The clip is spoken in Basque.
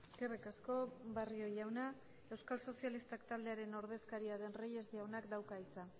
eskerrik asko barrio jauna euskal sozialistak taldearen ordezkaria den reyes jaunak dauka hitza